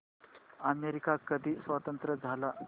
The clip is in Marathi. अमेरिका कधी स्वतंत्र झाला